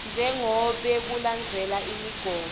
njengobe kulandzelwe imigomo